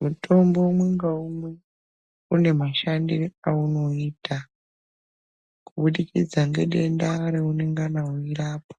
Mutombo umwe ngaumwe unemashandire aunoita, kubudikidza ngedenda reunengana weirapa.